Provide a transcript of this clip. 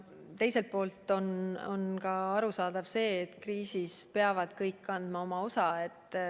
Teiselt poolt on arusaadav, et kriisis peavad kõik andma oma osa.